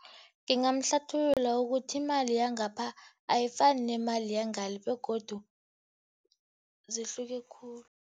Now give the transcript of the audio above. Ngingamhlathululela ukuthi imali yangapha ayifani nemali yangale, begodu zihluke khulu.